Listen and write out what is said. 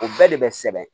O bɛɛ de bɛ sɛbɛn